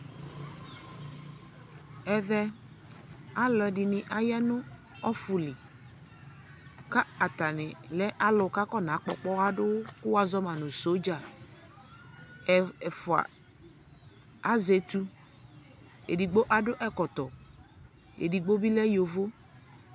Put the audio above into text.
Ɛvɛ, alʋɔdi ni aya nʋ ɔfu lι ka atani lɛ alʋ kʋ akɔnakpɔ pkɔadʋ kʋ wazɔ ma nʋ sodza Ɛ ɛfua azɛ etu edigbo adʋ ɛkɔtɔ edigbo bi lɛ yovo